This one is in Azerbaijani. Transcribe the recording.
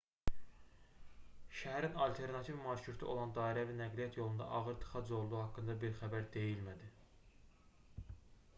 şəhərin alternativ marşrutu olan dairəvi nəqliyyat yolunda ağır tıxac olduğu haqqında bir xəbər deyilmədi